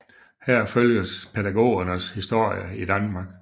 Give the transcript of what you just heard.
Her følges pædagogernes historie i Danmark